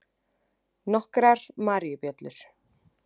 Nokkrar maríubjöllur.